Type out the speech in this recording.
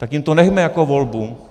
Tak jim to nechme jako volbu.